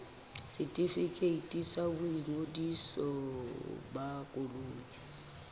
setefikeiti sa boingodiso ba koloi